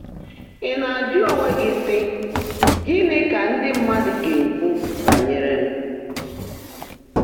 Ị̀ ná-ájụ́ óńwé gị́ sị́, ‘Gị́ní kà ndị́ mmádụ́ gá ná-èkwú bányèré m?’